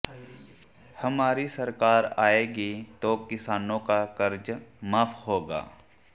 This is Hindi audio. हमारी सरकार आएगी तो किसानों का कर्जा माफ होगा